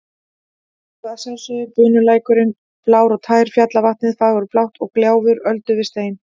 Og að sjálfsögðu bunulækurinn blár og tær, fjallavatnið fagurblátt og gjálfur öldu við stein.